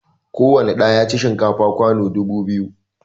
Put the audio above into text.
Kowani ɗa ya ci shinkafa kwano dubu biyu